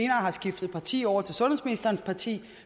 har skiftet parti over til sundhedsministerens parti